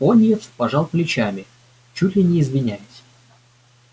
пониетс пожал плечами чуть ли не извиняясь